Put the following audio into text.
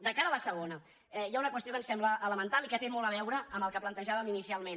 de cara a la segona hi ha una qüestió que ens sembla elemental i que té molt a veure amb el que plantejàvem inicialment